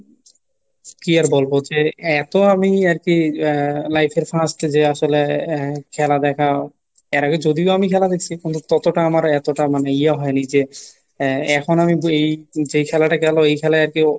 কি আর বলবো যে এত আমি আর কি আহ life এর first যে আসলে আহ খেলা দেখাও এর আগে যদিও আমি খেলা দেখছি কিন্তু ততটা আমার এতটা মানে ইয়ে হয়নি যে আহ এখন আমি এই যেই খেলাটা গেলো এই খেলায় আর কি